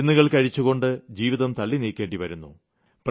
മരുന്നുകൾ കഴിച്ചുകൊണ്ട് ജീവിതം തള്ളിനീക്കേണ്ടി വരുന്നു